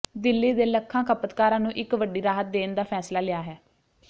ਦਿੱਲੀ ਦੇ ਲੱਖਾਂ ਖਪਤਕਾਰਾਂ ਨੂੰ ਇੱਕ ਵੱਡੀ ਰਾਹਤ ਦੇਣ ਦਾ ਫੈਸਲਾ ਲਿਆ ਹੈ